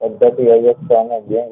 પદ્ધતિ ઐય્ય સંચાલકો લેવા